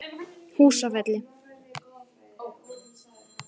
Húsafelli